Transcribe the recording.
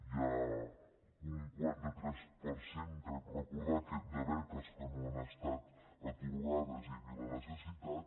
hi ha un quaranta tres per cent crec recordar de beques que no han estat atorgades i hi havia la necessitat